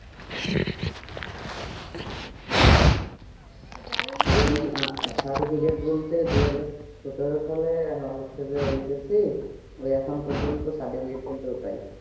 cetificate বলতে দুইহাজার সতের সালে হচ্ছে যে ই করছি তো এখনো পর্যন্ত certificate বলতে কোথায়